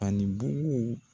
Ani bugu